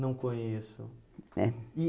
Não conheço. É